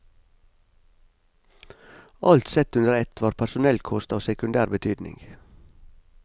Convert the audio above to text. Alt sett under ett var personellkost av sekundær betydning.